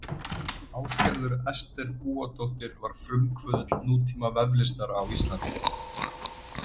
Ásgerður Ester Búadóttir var frumkvöðull nútíma veflistar á Íslandi.